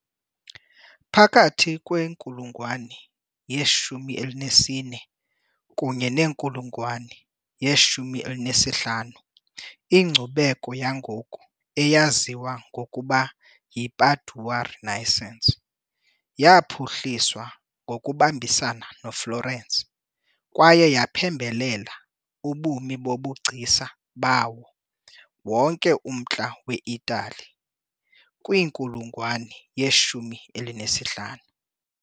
Phakathi kwenkulungwane ye - 14 kunye nenkulungwane ye - 15, inkcubeko yangoku eyaziwa ngokuba yiPadua Renaissance yaphuhliswa ngokubambisana noFlorence, kwaye yaphembelela ubume bobugcisa bawo wonke umntla weItali kwinkulungwane yeshumi elinesihlanu .